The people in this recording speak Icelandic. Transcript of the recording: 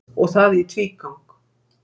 Og það í tvígang.